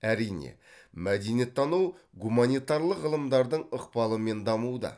әрине мәдениеттану гуманитарлық ғылымдардың ықпалымен дамуда